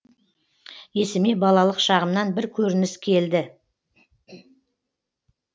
есіме балалық шағымнан бір көрініс келді